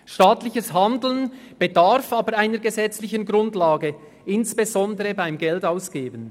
Staatliches Handeln bedarf aber insbesondere beim Geldausgeben einer gesetzlichen Grundlage.